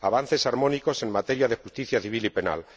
avances armónicos en materia de justicia civil y penal